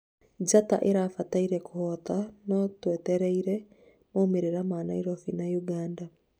njata ĩrabatie kũhota no twetereire maumĩrĩra ma Nairobi na uganda